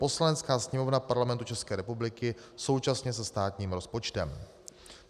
Poslanecká sněmovna Parlamentu České republiky současně se státním rozpočtem.